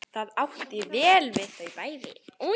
Það átti vel við þau bæði.